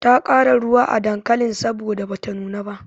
Ta ƙara ruwa a dankalin saboda bata nuna ba.